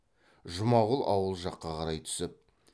жұмағұл ауыл жаққа қарай түсіп